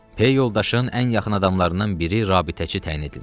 Pey yoldaşın ən yaxın adamlarından biri rabitəçi təyin edilmişdi.